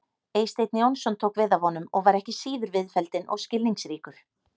Eysteinn Jónsson tók við af honum og var ekki síður viðfelldinn og skilningsríkur.